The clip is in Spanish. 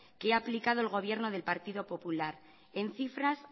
que ha aplicado el gobierno del partido popular en cifras